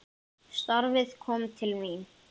Ástin mín